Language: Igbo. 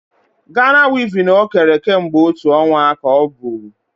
Ghana weaving o kere kemgbe otú ọnwa ka o bu